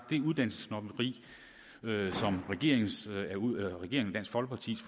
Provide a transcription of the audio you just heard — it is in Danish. det uddannelsessnobberi som regeringen